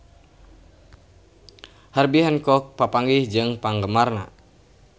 Herbie Hancock papanggih jeung penggemarna